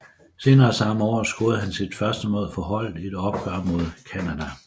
Senere samme år scorede han sit første mål for holdet i et opgør mod Canada